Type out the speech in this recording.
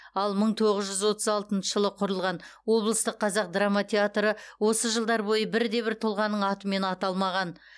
ал мың тоғыз жүз отыз алтыншы жылы құрылған облыстық қазақ драма театры осы жылдар бойы бірде бір тұлғаның атымен аталмаған